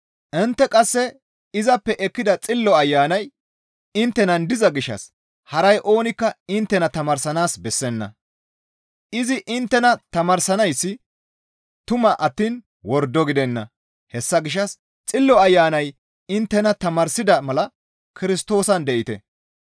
Intte qasse izappe ekkida Xillo Ayanay inttenan diza gishshas haray oonikka inttena tamaarsanaas bessenna; izi inttena tamaarsanayssi tuma attiin wordo gidenna; hessa gishshas Xillo Ayanay inttena tamaarsida mala Kirstoosan de7ite.